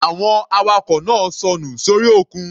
Àwọn awakọ̀ náà sọnù sórí òkun.